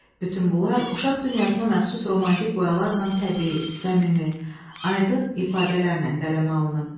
Bütün bunlar uşaq dünyasına məxsus romantik boyalarla təbii, səmimi, aydın ifadələrlə qələmə alınıb.